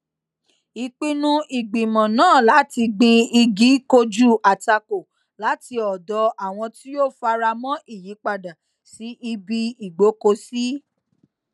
ìpinnu ìgbìmọ náà láti gbin igi kojú àtakò láti ọdọ àwọn tí kò fara mó ìyípadà sí ibi ìgbókòsí